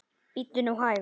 Bíddu nú hægur.